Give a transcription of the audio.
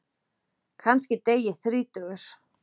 Kannski dey ég þrítugur.